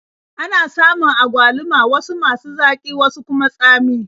Ana samun agwaluma wasu masu zaƙi wasu kuma tsami.